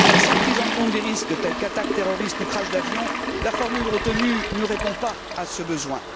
Sans prise en compte des risques tels qu'attaque terroriste ou crash d'avion, la formule retenue ne répond pas à ce besoin.